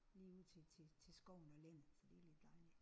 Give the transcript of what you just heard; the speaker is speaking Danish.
Lige ud til til til skoven og landet så det er lidt dejligt